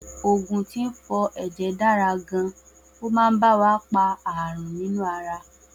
Oògùn tí ń fọ ẹ̀jẹ̀ dára gan, ọ ma ba wa pa ààrùn nínú ara